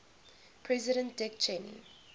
president dick cheney